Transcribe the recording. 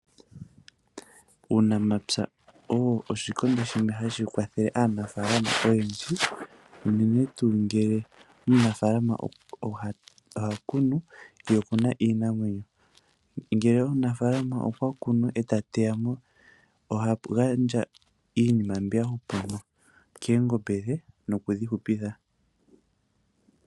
Uunamapya osho oshikondo hashi kwathele aanafalama oyendji, uunene tuu ngele omunafalama oha kunu, ye okuna iinamwenyo, ngele omunafalama okwa kunu eta teyamo, oha gandja iinima mbyoka ya hupamo koongombe nokudhi hupitha.